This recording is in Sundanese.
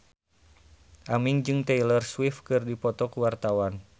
Aming jeung Taylor Swift keur dipoto ku wartawan